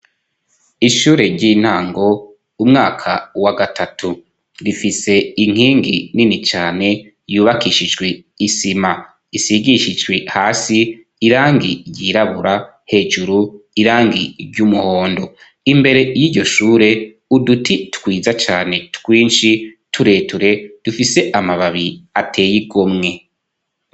Ishure ry'intango umwaka wa gatatu rifise inkingi nini cane yubakishijwe isima isigishijwe hasi irangi ry'irabura hejuru irangi ry'umuhondo .Imbere y'iryo shure uduti twiza cane twinshi tureture dufise amababi ateye igomwe.